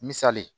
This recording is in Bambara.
Misali